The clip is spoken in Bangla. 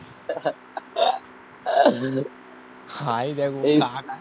হায় দেখো কাকার